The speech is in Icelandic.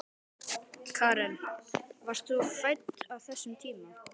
Karen: Varst þú fædd á þessum tíma?